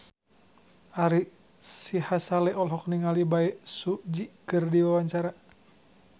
Ari Sihasale olohok ningali Bae Su Ji keur diwawancara